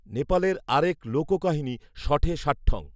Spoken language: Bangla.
নেপালের আরেক লোককাহিনী ‘শঠে শাঠ্যং’